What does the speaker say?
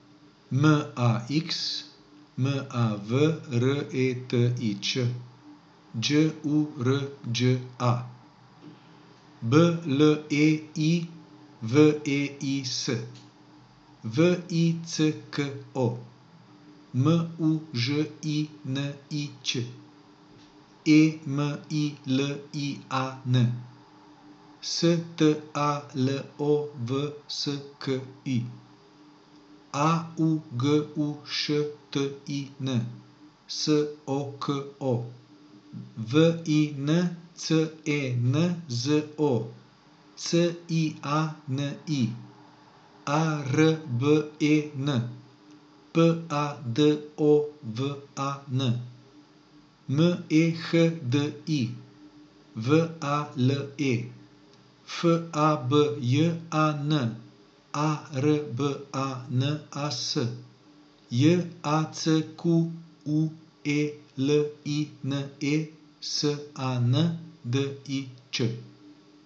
M A X, M A V R E T I Č; Đ U R Đ A, B L E I W E I S; V I C K O, M U Ž I N I Ć; E M I L I A N, S T A L O W S K I; A U G U Š T I N, S O K O; V I N C E N Z O, C I A N I; A R B E N, P A D O V A N; M E H D I, V A L E; F A B J A N, A R B A N A S; J A C Q U E L I N E, S A N D I Č.